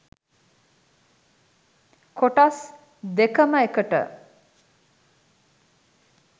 කොටස් දෙකම එකට.